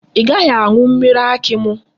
I gaghi aṅu mmiri akị mụ?